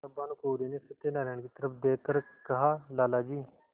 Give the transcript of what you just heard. तब भानुकुँवरि ने सत्यनारायण की तरफ देख कर कहालाला जी